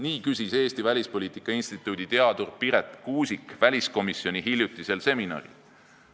Nii küsis Eesti Välispoliitika Instituudi teadur Piret Kuusik väliskomisjoni hiljutisel seminaril.